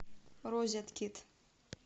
розеткид